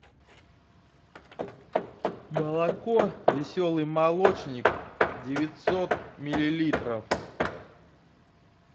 молоко веселый молочник девятьсот миллилитров